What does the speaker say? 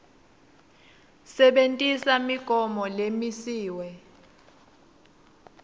sebentisa imigomo lemisiwe